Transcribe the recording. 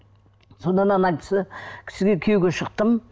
сонда ана кісі кісіге күйеуге шықтым